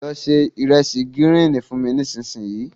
Lọ se ìresì gírín-ìn fún mi nísinsìnyí.